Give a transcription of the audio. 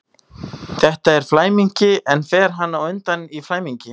Þetta er flæmingi, en fer hann undan í flæmingi?